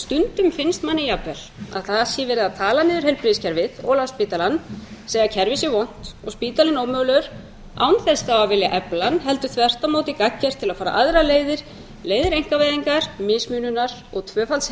stundum finnst manni jafnvel að það sé verið að tala niður heilbrigðiskerfið og landspítalann segja að kerfið sé vont og spítalinn ómögulegur án þess þá að vilja efla hann heldur þvert á móti gagngert til að fara aðrar leiðir leiðir einkavæðingar mismununar og tvöfalds